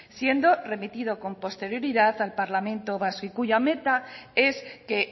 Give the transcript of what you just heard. siendo remitido con posterioridad al parlamento vasco y cuya meta es que